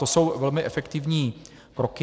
To jsou velmi efektivní kroky.